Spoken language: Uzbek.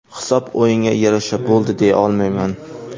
Hisob o‘yinga yarasha bo‘ldi deya olmayman.